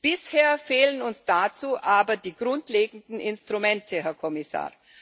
Bisher fehlen uns dazu aber die grundlegenden Instrumente, Herr Kommissar.